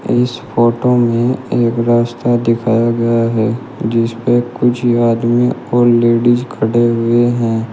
इस फोटो में एक रास्ता दिखाया गया है जीस पे कुछ आदमी और लेडिस खड़े हुए हैं।